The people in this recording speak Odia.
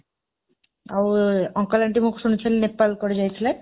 ଆଉ, uncle aunty ମୁଁ ଶୁଣୁଛି ନେପାଳ କୁଆଡ଼େ ଯାଇଥିଲେ?